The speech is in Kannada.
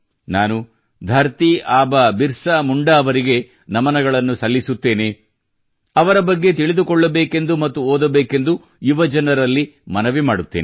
ನಾನು ಧರತೀ ಆಬಾ ಬಿರಸಾ ಮುಂಡಾ ಅವರಿಗೆ ನಮನಗಳನ್ನು ಸಲ್ಲಿಸುತ್ತೇನೆ ಅವರ ಬಗ್ಗೆ ತಿಳಿದುಕೊಳ್ಳಬೇಕೆಂದು ಮತ್ತು ಓದಬೇಕೆಂದು ಯುವಜನರಲ್ಲಿ ಮನವಿ ಮಾಡುತ್ತೇನೆ